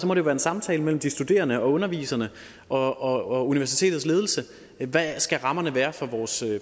må det være en samtale mellem de studerende og underviserne og universitets ledelse hvad skal rammerne være for vores